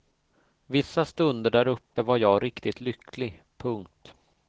Vissa stunder där uppe var jag riktigt lycklig. punkt